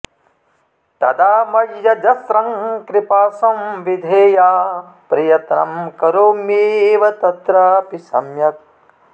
तदा मय्यजस्रं कृपा संविधेया प्रयत्नं करोम्येव तत्रापि सम्यक्